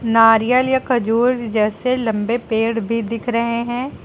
नारियल या खजूर जैसे लंबे पेड़ भी दिख रहे हैं।